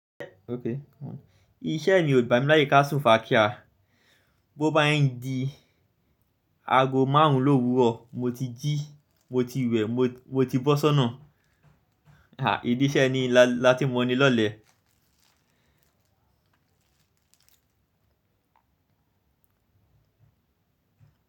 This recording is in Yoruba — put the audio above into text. Iṣẹ́ mi ò gbá mi láyé ká sùn fa kíá. Bo bá yẹn di ago márùn-ún l’ówuro, mo ti jí, mo ti wẹ̀, mo ti bọ́sọ́nà. Ha! Idì iṣẹ́ ni láti mo ni lọ́lẹ̀